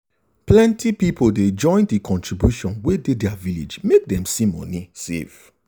plenty people they join the contribution wey dey their village make dem see money save.